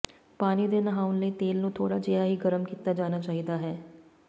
ਪਾਣੀ ਦੇ ਨਹਾਉਣ ਲਈ ਤੇਲ ਨੂੰ ਥੋੜ੍ਹਾ ਜਿਹਾ ਹੀ ਗਰਮ ਕੀਤਾ ਜਾਣਾ ਚਾਹੀਦਾ ਹੈ